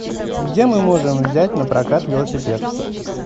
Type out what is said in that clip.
где мы можем взять напрокат велосипед